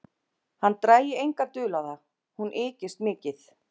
Hann drægi enga dul á það: hún ykist mikið.